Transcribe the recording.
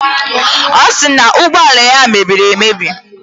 Ọ sị na ụgbọala ya mebiri emebi